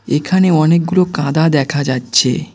এখানে অনেকগুলো কাঁদা দেখা যাচ্ছে।